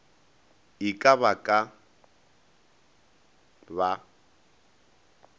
e ka ba ba ka